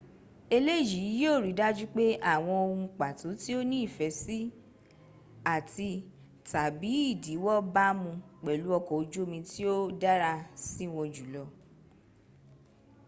eleyii yio ri daju pe awon ohun pato ti o ni ife si ati/tabi idiwo bamu pelu oko oju omi tio dara siwon jul